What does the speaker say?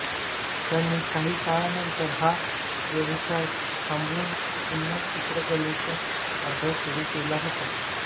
त्यांनी काही काळानंतर हा व्यवसाय थांबवुन पुन्हा चित्रकलेचा अभ्यास सुरू केला होता